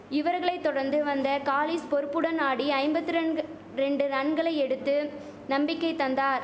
இவர்களை தொடர்ந்து வந்த காலிஸ் பொறுப்புடன் ஆடி ஐம்பத்திரன்கு ரெண்டு ரன்கள் எடுத்து நம்பிக்கை தந்தார்